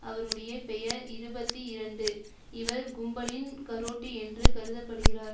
அவருடைய பெயர் இருபத்தி இரண்டு இவர் கும்பலின் காரோட்டி என்று கருத படுகிறார்